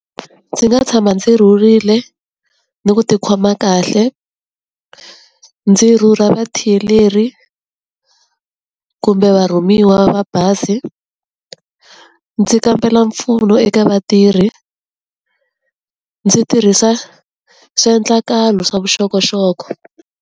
Ndzi nga tshama ndzi rhurile ni ku ti khoma kahle, ndzi rhurha kumbe va rhumiwa va bazi, ndzi kambela mpfuno eka vatirhi, ndzi tirhisa swiendlakalo swa vuxokoxoko.